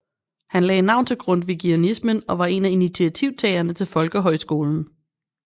Han lagde navn til grundtvigianismen og var en af initiativtagerne til folkehøjskolen